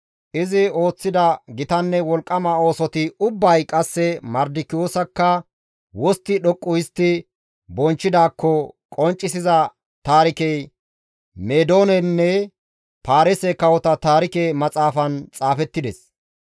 Izi ooththida gitanne wolqqama oosoti ubbay qasse Mardikiyoosakka wostti dhoqqu histti bonchchidaakko qonccisiza taarikey Meedoonenne Paarise kawota Taarike Maxaafan xaafettides.